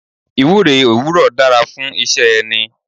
Ìwúre òwúrò dára fún iṣẹ́ ẹni.